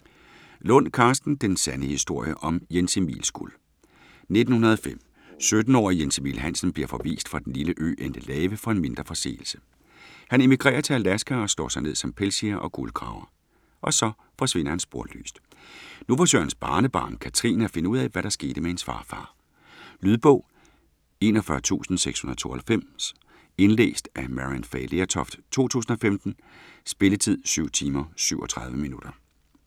Lund, Karsten: Den sande historie om Jens Emils guld 1905. 17-årige Jens Emil Hansen bliver forvist fra den lille ø Endelave for en mindre forseelse. Han emigrerer til Alaska og slår sig ned som pelsjæger og guldgraver. Og så forsvinder han sporløst. Nu forsøger hans barnebarn, Catherine, at finde ud af, hvad der skete med hendes farfar. Lydbog 41692 Indlæst af Maryann Fay Lertoft, 2015. Spilletid: 7 timer, 37 minutter.